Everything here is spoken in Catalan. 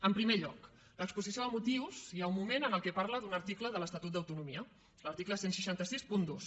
en primer lloc l’exposició de motius hi ha un moment en què parla d’un article de l’estatut d’autonomia l’article setze seixanta dos